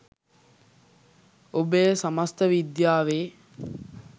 ඔබ එය සමස්ත විද්‍යාවේ